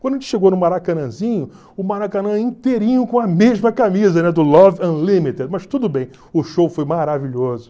Quando a gente chegou no Maracanãzinho, o Maracanã inteirinho com a mesma camisa, né, do Love Unlimited, mas tudo bem, o show foi maravilhoso.